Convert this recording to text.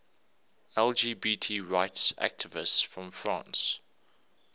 lgbt rights activists from france